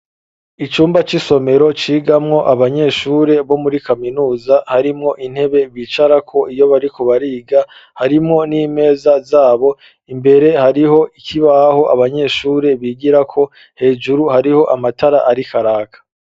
Icumba c'isomero cigamwo abanyeshuri bo muri kaminuza, harimwo intebe bicarako iyo bariko bariga ,harimwo n'imeza zabo, imbere hariho ikibaho abanyeshuri bigirako ,hejuru hariho amatara arikaraka.